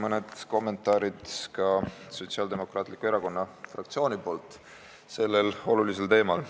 Mõned kommentaarid ka Sotsiaaldemokraatliku Erakonna fraktsioonilt sellel olulisel teemal.